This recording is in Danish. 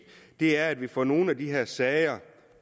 er at vi får nogle af de her sager